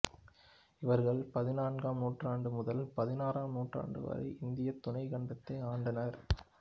இவர்கள் பதினான்காம் நூற்றாண்டு முதல் பதினாறாம் நூற்றாண்டு வரை இந்திய துணைக்கண்டத்தை ஆண்டனர்